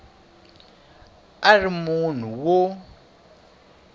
a a ri munhu wo